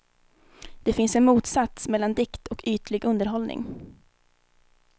Det finns en motsats mellan dikt och ytlig underhållning.